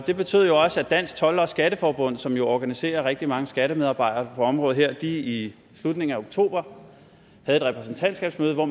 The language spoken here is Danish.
det betød jo også at dansk told skatteforbund som organiserer rigtig mange skattemedarbejdere på området her i slutningen af oktober havde et repræsentantskabsmøde hvor